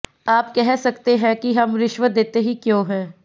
आप कह सकते हैं कि हम रिश्वत देते ही क्यों हैं